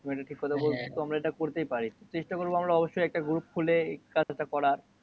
তুমি একটা ঠিক কথা বলতেছো। হ্যা আমরা এটা করতেই পারি। চেষ্টা করবো আমরা অবশ্যই একটা group খোলে এই কাজটা করা।